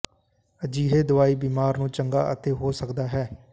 ਅਜਿਹੇ ਦਵਾਈ ਬਿਮਾਰ ਨੂੰ ਚੰਗਾ ਅਤੇ ਹੋ ਸਕਦਾ ਹੈ